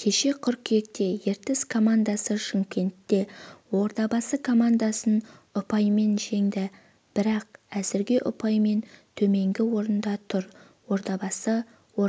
кеше қыркүйекте ертіс командасы шымкентте ордабасы командасын ұпаймен жеңді бірақ әзірге ұпаймен төменгі орында тұр ордабасы